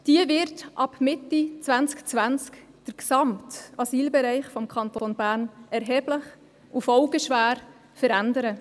Diese wird ab Mitte 2020 den gesamten Asylbereich des Kantons Bern erheblich und folgenschwer verändern.